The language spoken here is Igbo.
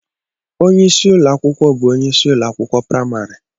Onye isi ụlọ akwụkwọ bụ onye isi ụlọ akwụkwọ praịmarị.